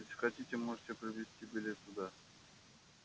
если хотите можете приобрести билет туда